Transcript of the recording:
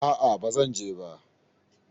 A'a baba zan je ba.